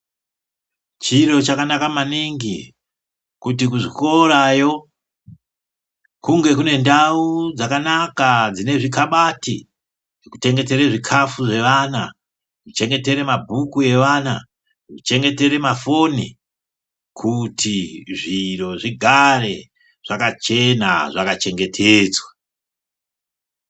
Chiro chakanaka maningi kuti kuchikorayo kunge kune ndau dzakanaka dzine zvikhabati zveku chengetera zvikafu zvevana, zveku chengetera mabhuku evana, zvekuc hengetere mafoni kuti zviro zvigare zvakachena zvaka chengetedzwa.